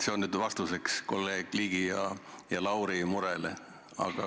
See on vastuseks kolleegide Ligi ja Lauri murele.